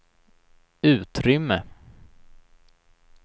utrymme